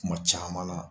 Kuma caman na